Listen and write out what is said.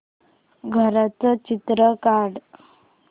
घराचं चित्र काढ